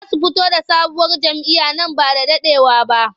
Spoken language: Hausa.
Za su fito da sabuwar jam'iyya nan ba da daɗewa ba.